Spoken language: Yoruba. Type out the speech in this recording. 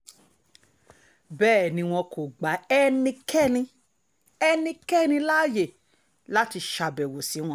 bẹ́ẹ̀ ni wọn kò gba ẹnikẹ́ni ẹnikẹ́ni láàyè láti ṣàbẹ̀wò sí wọn